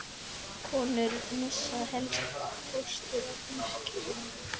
Konur missa helst fóstur á því skeiði.